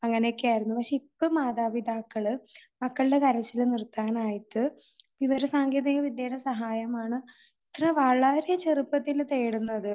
അങ്ങനെയൊക്കെയായിരുന്നു. പക്ഷേ ഇപ്പോ മാതാപിതാക്കൾ മക്കളുടെ കരച്ചിൽ നിർത്താൻ ആയിട്ട് വിവരസാങ്കേതിക വിദ്യയുടെ സഹായമാണ് ഇത്ര വളരെ ചെറുപ്പത്തിലെ തേടുന്നത്.